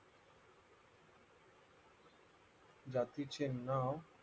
जातीचे नाव